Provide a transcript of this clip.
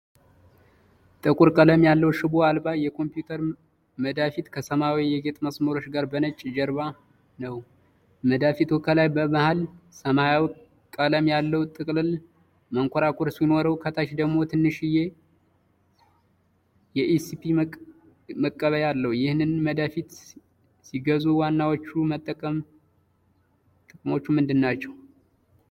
ጥቁር ቀለም ያለው ሽቦ አልባ የኮምፒውተር መዳፊት ከሰማያዊ የጌጥ መስመሮች ጋር በነጭ ጀርባነው። መዳፊቱ ከላይ በመሃል የሰማያዊ ቀለም ያለው ጥቅልል መንኮራኩር ) ሲኖረው፣ ከታች ደግሞ ትንሽዬ የዩኤስቢ መቀበያ አለው። ይህንን መዳፊት ሲገዙ ዋናዎቹ የመጠቀም ጥቅሞች ምንድናቸው?